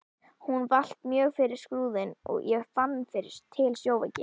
Hún valt mjög fyrir Skrúðinn og ég fann til sjóveiki.